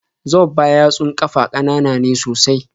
Zobba yatsun ƙafa ƙanana ne sosai